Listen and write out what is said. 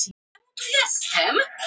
Og ég hálshöggvin.